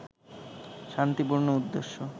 শান্তিপূর্ণ উদ্দেশ্যে